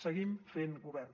seguim fent govern